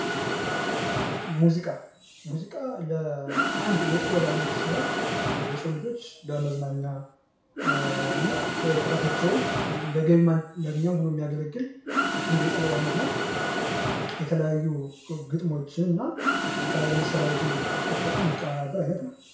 ሙዚቃ ሙዚቃ የጥበብ ዓይነት ሲሆን የሰው ልጆች ለመዝናኛና እረፍታቸውን እንደገቢ ማግኛ ሆኖ ሚያገለግል አንድ የጥበብ አይነት ነው የተለያዩ ግጥሞችንና የተለያዩ መሣሪያዎችን ተጠቅሞ የሚቀናበር አይነት ነው።